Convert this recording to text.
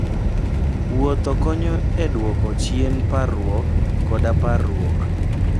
Wuoth konyo e duoko chien parruok koda parruok.